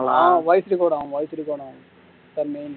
ஆஹ் voice-record ஆகும் voice-record ஆகும் அதான் main